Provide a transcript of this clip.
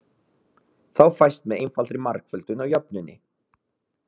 Þá fæst með einfaldri margföldun á jöfnunni